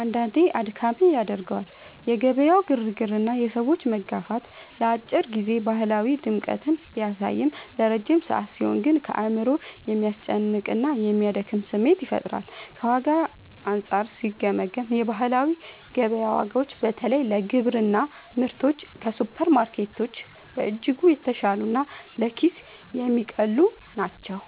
አንዳንዴ አድካሚ ያደርገዋል። የገበያው ግርግርና የሰዎች መጋፋት ለአጭር ጊዜ ባህላዊ ድምቀትን ቢያሳይም፣ ለረጅም ሰዓት ሲሆን ግን አእምሮን የሚያስጨንቅና የሚያደክም ስሜት ይፈጥራል። ከዋጋ አንጻር ሲገመገም፣ የባህላዊ ገበያ ዋጋዎች በተለይ ለግብርና ምርቶች ከሱፐርማርኬቶች በእጅጉ የተሻሉና ለኪስ የሚቀልሉ ናቸው።